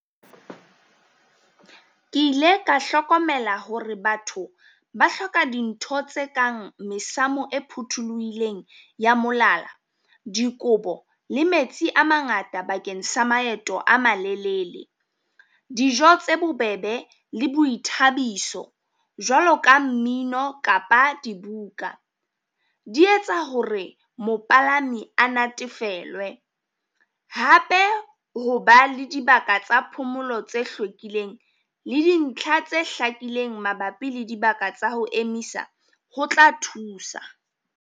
Ke ile ka hlokomela hore batho ba hloka dintho tse kang mesamo e phothuluhileng ya molala, dikobo le metsi a mangata bakeng sa maeto a malelele. Dijo tse bobebe le boithabiso jwalo ka mmino kapa dibuka, di etsa hore mopalami a natefelwe. Hape ho ba le dibaka tsa phomolo tse hlwekileng le dintlha tse hlakileng mabapi le dibaka tsa ho emisa ho tla thusa.